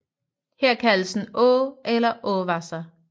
Her kaldes den Aa eller Aawasser